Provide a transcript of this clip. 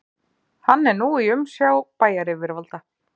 Hann er nú í umsjá bæjaryfirvalda